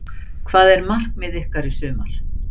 Hvað er markmið ykkar í sumar?